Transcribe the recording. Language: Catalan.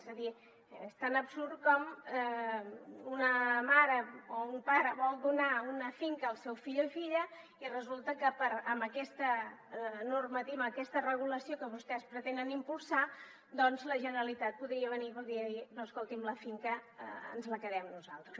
és a dir és tan absurd com que una mare o un pare vol donar una finca al seu fill o filla i resulta que amb aquesta normativa amb aquesta regulació que vostès pretenen impulsar la generalitat podria venir i podria dir no escoltin la finca ens la quedem nosaltres